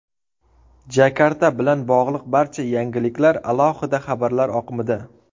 Jakarta bilan bog‘liq barcha yangiliklar alohida xabarlar oqimida .